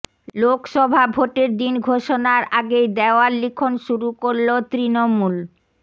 লোকসভা ভোটের দিন ঘোষণার আগেই দেওয়াল লিখন শুরু করল তৃণমূল